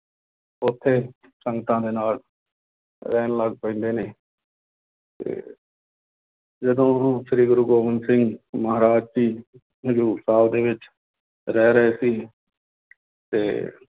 ਉੱਥੇ ਸੰਗਤਾਂ ਦੇ ਨਾਲ ਰਹਿਣ ਲੱਗ ਪੈਂਦੇ ਨੇ ਤੇ ਜਦੋਂ ਗੁਰੂ ਸ੍ਰੀ ਗੁਰੂ ਗੋਬਿੰਦ ਸਿੰਘ ਮਹਾਰਾਜ ਜੀ ਹਜ਼ੂਰ ਸਾਹਿਬ ਦੇ ਵਿੱਚ ਰਹਿ ਰਹੇ ਸੀ ਤੇ